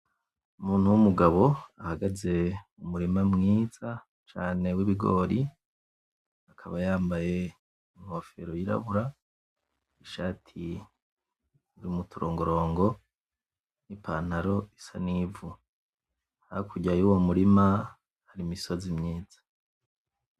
Umuntu wumugabo ahagaze mumurima mwiza cane w'ibigori, akaba yambaye inkofero yirabura n'ishati irimwo uturongorongo, n'ipantaro isa nivu hakurya yuwo murima hari imisozi myiza.